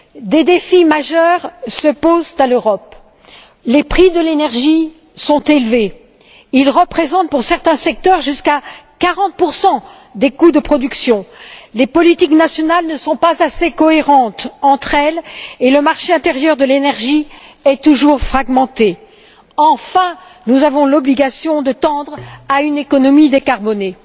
Des défis majeurs se posent à l'Europe les prix de l'énergie sont élevés ils représentent pour certains secteurs jusqu'à 40 des coûts de production les politiques nationales ne sont pas assez cohérentes entre elles et le marché intérieur de l'énergie est toujours fragmenté. Enfin, nous avons l'obligation de tendre à une économie décarbonée.